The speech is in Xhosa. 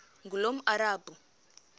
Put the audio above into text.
ngulomarabu